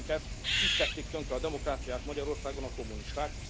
Mi ismerjük ezt, így tették tönkre a demokráciát Magyarországon a kommunisták.